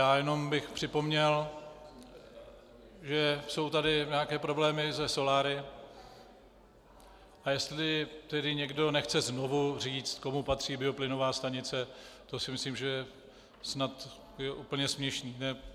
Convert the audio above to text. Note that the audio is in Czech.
Já jenom bych připomněl, že jsou tady nějaké problémy se soláry, a jestli tedy někdo nechce znovu říct, komu patří bioplynová stanice, to si myslím, že snad je úplně směšné.